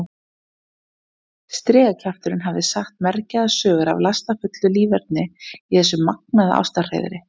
Strigakjafturinn hafði sagt mergjaðar sögur af lastafullu líferni í þessu magnaða ástarhreiðri.